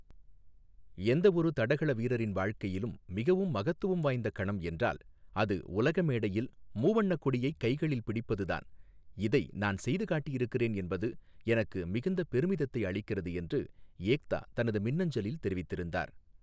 எந்த ஒரு தடகள வீரரின் வாழ்க்கையிலும் மிகவும் மகத்துவம் வாய்ந்த கணம் என்றால், அது உலக மேடையில் மூவண்ணக் கொடியைக் கைகளில் பிடிப்பது தான், இதை நான் செய்து காட்டியிருக்கிறேன் என்பது எனக்கு மிகுந்த பெருமிதத்தை அளிக்கிறது என்று ஏக்தா தனது மின்னஞ்சலில் தெரிவித்திருந்தார்.